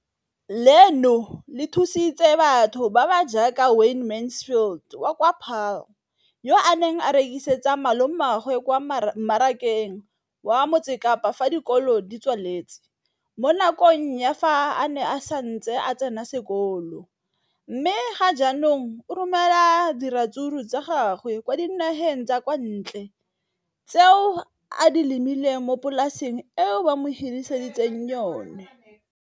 leno le thusitse batho ba ba jaaka Wayne Mansfield, 33, wa kwa Paarl, yo a neng a rekisetsa malomagwe kwa Marakeng wa Motsekapa fa dikolo di tswaletse, mo nakong ya fa a ne a santse a tsena sekolo, mme ga jaanong o romela diratsuru tsa gagwe kwa dinageng tsa kwa ntle tseo a di lemileng mo polaseng eo ba mo hiriseditseng yona.